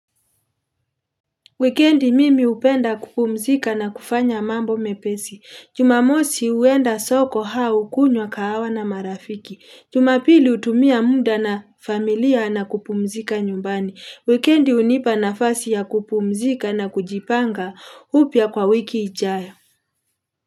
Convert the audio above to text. Wikendi mimi upenda kupumzika na kufanya mambo mepesi. Jumamosi uenda soko hau kunywa kahawa na marafiki. Jumapili utumia muda na familia na kupumzika nyumbani. Wikendi unipa nafasi ya kupumzika na kujipanga upya kwa wiki ichayo.